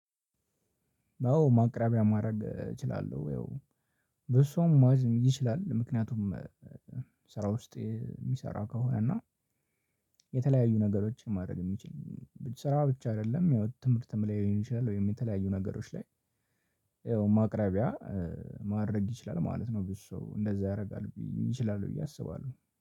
አዎ ማቅረቢያ ማድረግ እችላለሁ ወይ በሷም ማለት ይችላል። ምክንያቱም ስራ ውስጥ የሚሰራ ከሆነ እና የተለያዩ ነገሮችን ማድረግ የሚችል ስራ ብቻ አይደለም ያው ትምህርት ትምህርት ላይ ይሆናል። ወይም የተለያዩ ነገሮች ላይ ይኸው ማቅረቢያ ማድረግ ይችላል ማለት ነው። ብዙ ሰው እንደዛ ያደርጋል ይችላል ብዬ አስባለሁ።